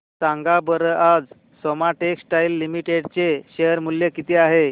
सांगा बरं आज सोमा टेक्सटाइल लिमिटेड चे शेअर चे मूल्य किती आहे